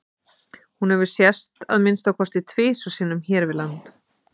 Hún hefur sést að minnsta kosti tvisvar sinnum hér við land.